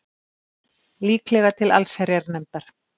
Líklega til allsherjarnefndar